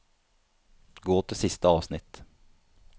Gå til siste avsnitt